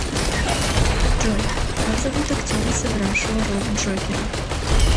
джой как зовут актера сыгравшего роль джокера